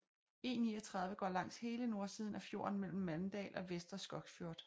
E39 går langs hele nordsiden af fjorden mellem Mandal og Vestre Skogsfjord